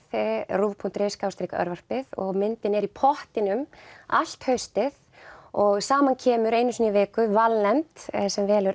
ruv punktur is og myndin er í pottinum allt haustið og saman kemur einu sinni í viku valnefnd sem velur